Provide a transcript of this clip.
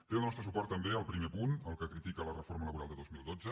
té el nostre suport també el primer punt el que critica la reforma laboral de dos mil dotze